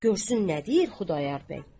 Görsün nə deyir Xudayar bəy.